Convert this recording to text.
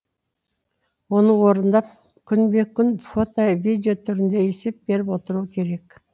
оны орындап күнбе күн фото видео түрінде есеп беріп отыруы керек